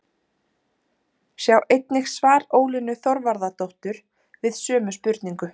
Sjá einnig svar Ólínu Þorvarðardóttur við sömu spurningu.